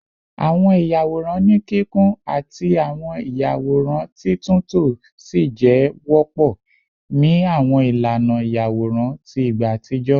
Awọn iyaworan ni kikun ati awọn iyaworan titunto si jẹ wọpọ ni awọn ilana iyaworan ti igba atijọ